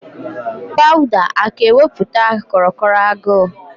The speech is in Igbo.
Powda aka ewepụtụ kro kro agụ?